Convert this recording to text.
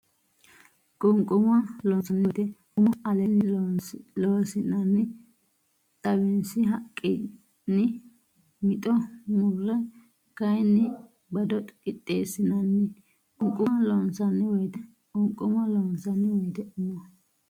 Qunquma loonsanni woyte umo aleenni Loossinanni xawinsi haqqinni mitto murre kayinni bado qixxeessinanni Qunquma loonsanni woyte Qunquma loonsanni woyte umo.